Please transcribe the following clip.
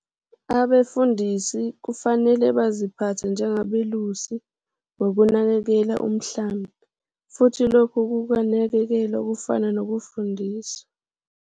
Abefundisi kufanele baziphathe njengabelusi ngokunakekela umhlambi, futhi lokhu kunakekelwa kufaka nokufundisa.